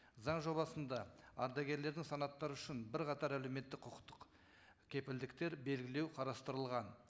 заң жобасында ардагерлердің санаттары үшін бірқатар әлеуметтік құқықтық кепілдіктер белгілеу қарастырылған